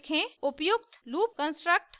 उपयुक्त loop construct